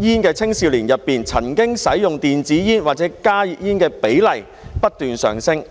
煙的青少年當中，曾經使用電子煙或加熱煙的比例不斷上升。